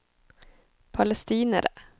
palestinere